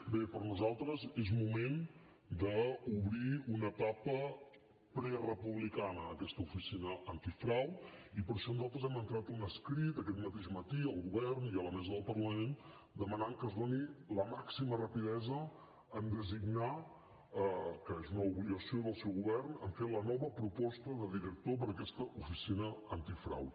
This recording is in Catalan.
bé per nosaltres és moment d’obrir una etapa prerepublicana en aquesta oficina antifrau i per això nosaltres hem entrat un escrit aquest mateix matí al govern i a la mesa del parlament que demana que es doni la màxima rapidesa a designar que és una obligació del seu govern a fer la nova proposta de director per a aquesta oficina antifrau